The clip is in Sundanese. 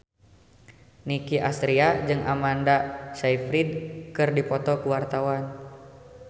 Nicky Astria jeung Amanda Sayfried keur dipoto ku wartawan